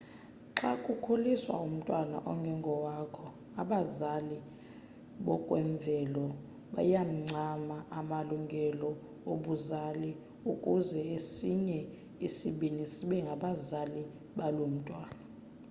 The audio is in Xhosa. xa kukhuliswa umntwana ongengowakho abazali bokwemvelo bayawancama amalungelo obuzali ukuze esinye isibini sibe ngabazali baloo mntwana